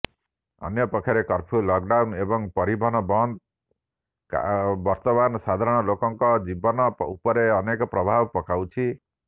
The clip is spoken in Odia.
ଅନ୍ୟପକ୍ଷରେ କର୍ଫ୍ୟୁ ଲକଡାଉନ୍ ଏବଂ ପରିବହନ ବନ୍ଦ ବର୍ତ୍ତମାନ ସାଧାରଣ ଲୋକଙ୍କ ଜୀବନ ଉପରେ ଅନେକ ପ୍ରଭାବ ପକାଉଛି